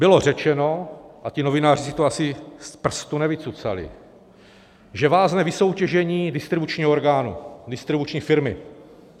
Bylo řečeno - a ti novináři si to asi z prstu nevycucali - že vázne vysoutěžení distribučního orgánu, distribuční firmy.